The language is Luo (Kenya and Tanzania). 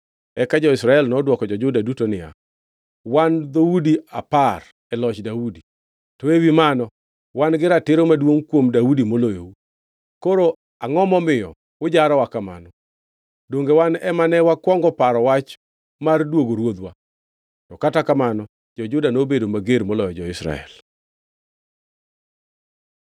Eka jo-Israel nodwoko jo-Juda duto niya, “Wan dhoudi apar e loch Daudi, to ewi mano, wan gi ratiro maduongʼ kuom Daudi moloyou. Koro angʼo momiyo ujarowa kamano? Donge wan ema ne wakwongo paro wach mar duogo ruodhwa?” To kata kamano jo-Juda nobedo mager moloyo jo-Israel.